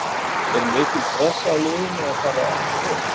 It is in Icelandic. Er mikil pressa á liðinu að far aftur upp?